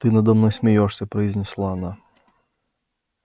ты надо мной смеёшься произнесла она